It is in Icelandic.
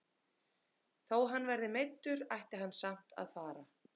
Þó hann verði meiddur ætti hann samt að fara með.